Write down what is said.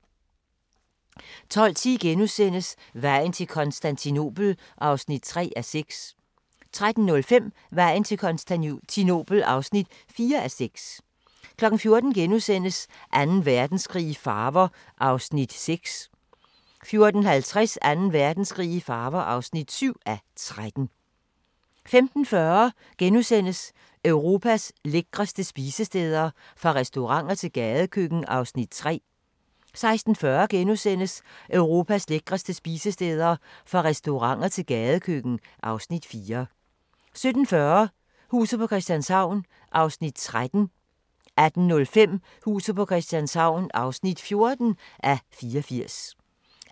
12:10: Vejen til Konstantinopel (3:6)* 13:05: Vejen til Konstantinopel (4:6) 14:00: Anden Verdenskrig i farver (6:13)* 14:50: Anden Verdenskrig i farver (7:13) 15:40: Europas lækreste spisesteder – fra restauranter til gadekøkken (Afs. 3)* 16:40: Europas lækreste spisesteder – fra restauranter til gadekøkken (Afs. 4)* 17:40: Huset på Christianshavn (13:84) 18:05: Huset på Christianshavn (14:84)